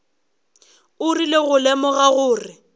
o rile go lemoga gore